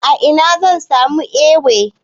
A ina zan samu Ewe?